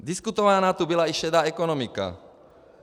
Diskutována tu byla i šedá ekonomika.